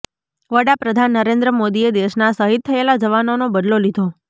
વડાપ્રધાન નરેન્દ્ર મોદીએ દેશના શહીદ થયેલા જવાનોનો બદલો લીધો